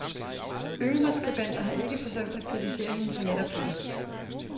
Yngre skribenter har ikke forsømt at kritisere hende for netop dette.